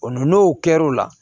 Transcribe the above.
O n'o kɛr'o la